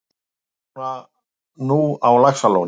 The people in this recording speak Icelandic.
Þau búa nú á Laxalóni.